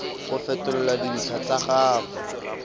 go fetola dintlha tsa gago